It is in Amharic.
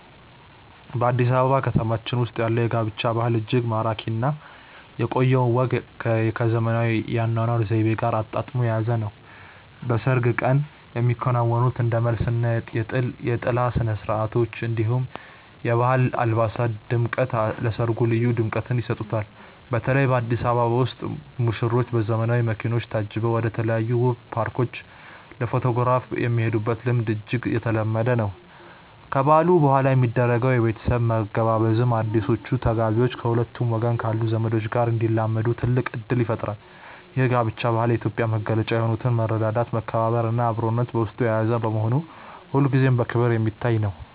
በአዲስ አበባ ከተማችን ውስጥ ያለው የጋብቻ ባህል እጅግ ማራኪ እና የቆየውን ወግ ከዘመናዊው የአኗኗር ዘይቤ ጋር አጣጥሞ የያዘ ነው። በሰርግ ቀን የሚከናወኑት እንደ መልስ እና የጥላ ስነስርዓቶች፣ እንዲሁም የባህል አልባሳት ድምቀት ለሰርጉ ልዩ ድምቀትን ይሰጡታል። በተለይ በአዲስ አበባ ውስጥ ሙሽሮች በዘመናዊ መኪኖች ታጅበው ወደተለያዩ ውብ ፓርኮች ለፎቶግራፍ የሚሄዱበት ልምድ እጅግ የተለመደ ነው። ከበዓሉ በኋላ የሚደረገው የቤተሰብ መገባበዝም አዲሶቹ ተጋቢዎች ከሁለቱም ወገን ካሉ ዘመዶች ጋር እንዲላመዱ ትልቅ እድል ይፈጥራል። ይህ የጋብቻ ባህል የኢትዮጵያዊነትን መገለጫ የሆኑትን መረዳዳት፣ መከባበር እና አብሮነትን በውስጡ የያዘ በመሆኑ ሁልጊዜም በክብር የሚታይ ነው።